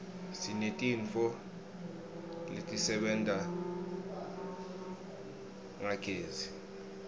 sinetintfo letisebenta ngagezi